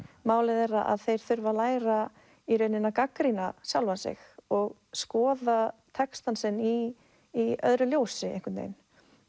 málið er að þeir þurfa að læra að gagnrýna sjálfan sig og skoða textann sinn í í öðru ljósi einhvern veginn